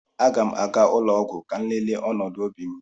Aga m aga ụlọ ọgwụ ka m lelee ọnọdụ obi m